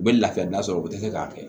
U bɛ lafiya da sɔrɔ u tɛ se k'a kɛ